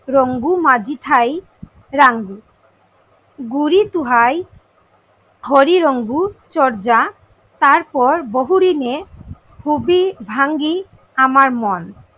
রঙ্গু মাঝি থাই রাঙ্গু গুরি তুহাই হরি রঙ্গু চর্যা তার পর বহুরিমে খুবই ভাঙ্গি আমার মন।